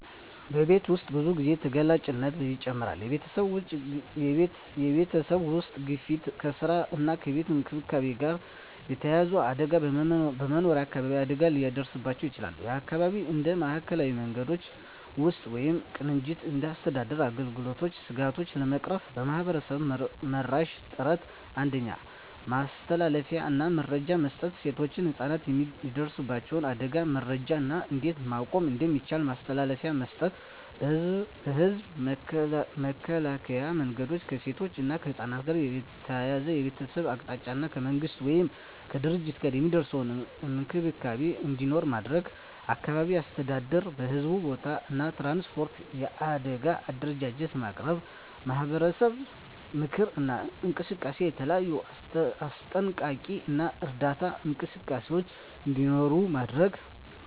በቤት ውስጥ ብዙ ጊዜ ተጋላጭነት ይጨምራል የቤተሰብ ውስጥ ግፊት ከስራ እና ከቤት እንክብካቤ ጋር የተያያዘ አደጋ በመኖሪያ አካባቢ አደጋ ሊደርስባቸው ይችላል (የአካባቢ እንደ ማዕከላዊ መንገዶች ውስጥ ወይም ቅንጅት እንደ አስተዳደር አገልግሎቶች ስጋቶቹን ለመቅረፍ ማህበረሰብ-መራሽ ጥረቶች 1. ማስተላለፊያ እና መረጃ መስጠት ሴቶችና ህፃናት የሚደርሱበት አደጋን መረጃ እና እንዴት መቆም እንደሚቻል ማስተላለፊያ መስጠት። የህዝብ መከላከያ መንገዶች ከሴቶች እና ከህፃናት ጋር ተያያዘ የቤተሰብ አቅጣጫ እና ከመንግሥት ወይም ከድርጅቶች ጋር የሚደርስ እንክብካቤ እንዲኖር ማድረግ። አካባቢ አስተዳደር በሕዝብ ቦታዎች እና ትራንስፖርት የአደጋ አደረጃጀት ማቅረብ። ማህበረሰብ ምክክር እና እንቅስቃሴ የተለያዩ አስጠንቀቂ እና እርዳታ እንቅስቃሴዎች እንዲኖሩ ማድረግ።